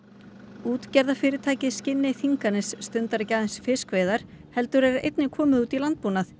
útgerðarfyrirtækið Skinney Þinganes stundar ekki aðeins fiskveiðar heldur er einnig komið út í landbúnað